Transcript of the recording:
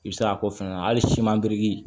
I bɛ se k'a ko fɛnɛ na hali siman giri